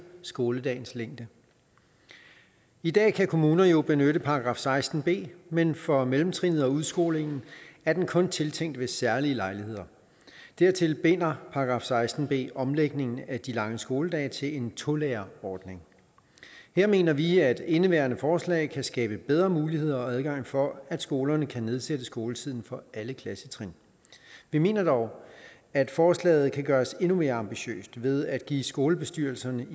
skoledagens længde i dag kan kommuner jo benytte § seksten b men for mellemtrinnet og udskolingen er den kun tiltænkt ved særlige lejligheder dertil binder § seksten b omlægningen af de lange skoledage til en tolærerordning her mener vi at indeværende forslag kan skabe bedre muligheder og adgang for at skolerne kan nedsætte skoletiden for alle klassetrin vi mener dog at forslaget kan gøres endnu mere ambitiøst ved at give skolebestyrelserne